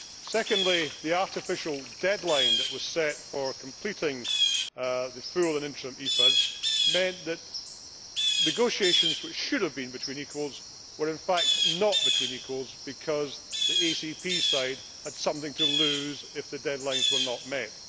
Secondly, the artificial deadline that was set for completing the full and interim EPAs meant that negotiations, which should have been between equals, were in fact not between equals, because the ACP side had something to lose if the deadlines were not met.